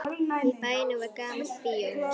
Í bænum var gamalt bíóhús.